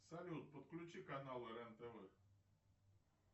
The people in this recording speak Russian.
салют подключи каналы рен тв